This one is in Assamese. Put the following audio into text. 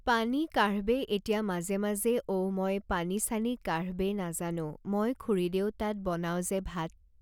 পানী কাঢ়বে এতিয়া মাজে মাজে ঔ মই পানী চানী কাঢ়বে নাজানো মই খুৰীদেউ তাত বনাওঁ যে ভাত